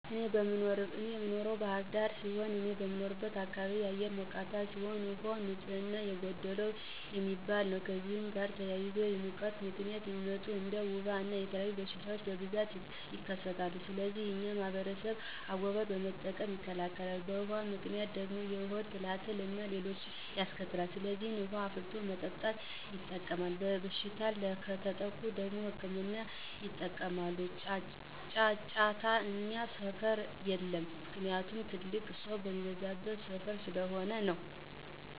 እኔ የምኖረው ባህር ዳር ሲሆን፤ እኔ በምኖርበት አካባቢ አየሩ ሞቃታ ሲሆን፤ ውሃውም ንፅህና የጎደለው የሚባል ነው። ከእነዚህም ጋር ተያይዞ በሙቀት ምክንያት የሚመጡ እንደ ወባ እና የተለያዩ በሽታወች በብዛት ይከሰታል። ለዚህም የኛ ማህበረሰብ አጎበር በመጠቀም ይከላከላል። በውሀው ምክንያት ደግሞ የሆድ ትላትል አና ሌሎችንም ያስከትላል። ስለዚህ ውሀን አፍልቶ በመጠጣት ይጠቀማል። በበሽታ ከተጠቁ ደግሞ ህክምና ያጠቀማሉ። ጫጫታ እኛ ሰፈር የለም። ምክንያቱም ትልቅ ሰው የሚበዛበት ሰፈር ስለሆነ ነው።